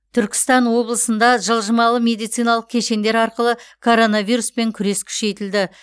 түркістан облысында жылжымалы медициналық кешендер арқылы коронавируспен күрес күшейтілді